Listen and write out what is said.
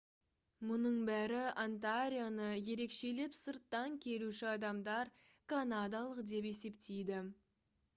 мұның бәрі онтарионы ерекшелеп сырттан келуші адамдар канадалық деп есептейді